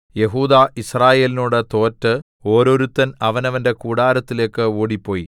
യെഹൂദാ യിസ്രായേലിനോട് തോറ്റ് ഓരോരുത്തൻ അവനവന്റെ കൂടാരത്തിലേക്ക് ഓടിപ്പോയി